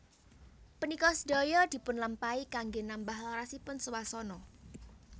Punika sedaya dipunlampahi kanggé nambah larasipun swasana